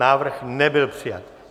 Návrh nebyl přijat.